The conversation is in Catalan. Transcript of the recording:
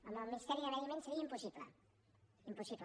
amb el ministeri de medi ambient seria impossible impossible